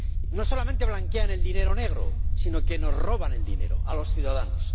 No solamente blanquean el dinero negro, sino que nos roban el dinero a los ciudadanos.